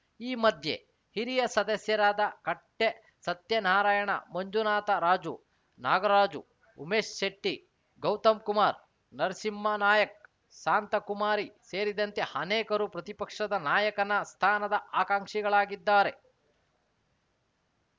ಈ ಮಧ್ಯೆ ಹಿರಿಯ ಸದಸ್ಯರಾದ ಕಟ್ಟೆಸತ್ಯನಾರಾಯಣ ಮಂಜುನಾಥ ರಾಜು ನಾಗರಾಜು ಉಮೇಶ್‌ ಶೆಟ್ಟಿ ಗೌತಮ್‌ಕುಮಾರ್‌ ನರಸಿಂಹ ನಾಯಕ್‌ ಶಾಂತಕುಮಾರಿ ಸೇರಿದಂತೆ ಅನೇಕರು ಪ್ರತಿಪಕ್ಷದ ನಾಯಕನ ಸ್ಥಾನದ ಆಕಾಂಕ್ಷಿಗಳಾಗಿದ್ದಾರೆ